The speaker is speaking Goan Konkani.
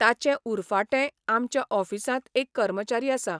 ताचे उरफाटें आमच्या ऑफिसांत एक कर्मचारी आसा.